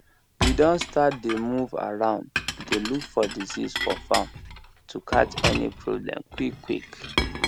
we don start dey move around dey look for disease for farm to catch any problem quickquick